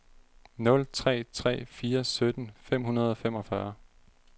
nul tre tre fire sytten fem hundrede og femogfyrre